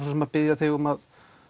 biðja þig um að